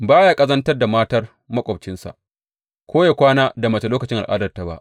Ba ya ƙazantar da matar maƙwabcinsa ko ya kwana da mace lokacin al’adarta ba.